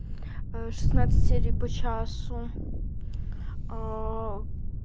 шестнадцать серий по часу